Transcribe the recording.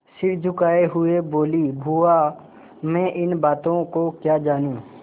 सिर झुकाये हुए बोलीबुआ मैं इन बातों को क्या जानूँ